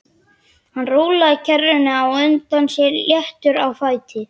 Hann rúllaði kerrunni á undan sér léttur á fæti.